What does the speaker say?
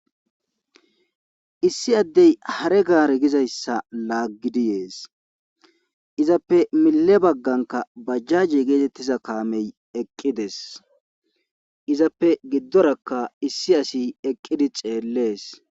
Issi addey hare gaar gizayssa laaggidi yees izappe mille bagganka bajjaji geetettiza kaamey eqqides izappe giddorakka issi asi eqqidi ceellees.